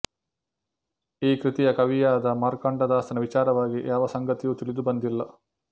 ಈ ಕೃತಿಯ ಕವಿಯಾದ ಮಾರ್ಕಂಡದಾಸನ ವಿಚಾರವಾಗಿ ಯಾವ ಸಂಗತಿಯೂ ತಿಳಿದುಬಂದಿಲ್ಲ